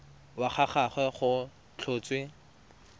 wa ga gagwe go tlhotswe